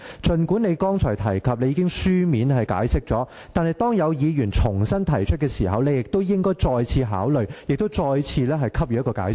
儘管你剛才提及已作出書面解釋，但當有議員重新提出規程問題時，你應要再次考慮，並再次給予解釋。